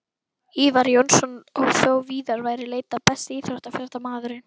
Ívar Jónsson og þó víðar væri leitað Besti íþróttafréttamaðurinn?